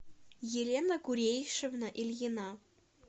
елена курейшевна ильина